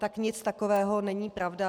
Tak nic takového není pravda.